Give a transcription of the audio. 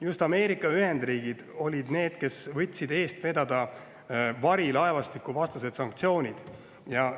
Just Ameerika Ühendriigid olid need, kes võtsid eest vedada varilaevastikuvastaste sanktsioonide.